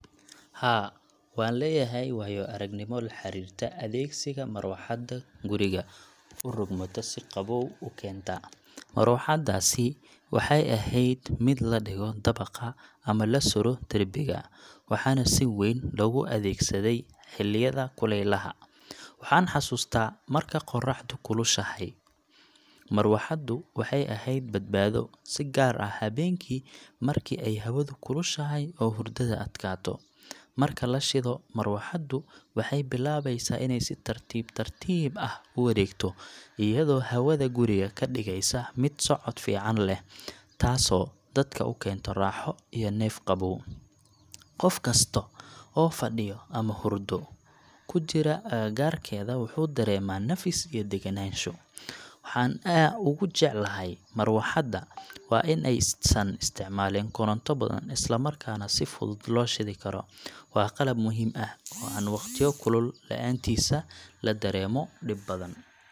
Haa, waxaan leeyahay waayo-aragnimo la xiriirta adeegsiga marawaxadda guriga u rogmata si qabow u keenta. Marawaxaddaasi waxay ahayd mid la dhigo dabaqa ama la sudho derbiga, waxaana si weyn loogu adeegsaday xilliyada kulaylaha. Waxaan xasuustaa marka qorraxdu kulushahay, marawaxaddu waxay ahayd badbaado, si gaar ah habeenkii marka ay hawadu kulushahay oo hurdada adkaato. Marka la shido, marawaxaddu waxay bilaabeysaa inay si tartiib tartiib ah u wareegto, iyadoo hawada guriga ka dhigaysa mid socod fiican leh, taasoo dadka u keenta raaxo iyo neef qabow. Qof kasta oo fadhiyo ama hurdo ku jira agagaarkeeda wuxuu dareemaa nafis iyo degganaansho. Waxa aan ugu jecelahay marawaxadda waa in aysan isticmaalin koronto badan, isla markaana si fudud loo shidi karo. Waa qalab muhiim ah oo aan waqtiyo kulul la’aantiis la dareemo dhib badan.